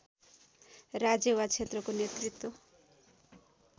राज्य वा क्षेत्रको नेतृत्व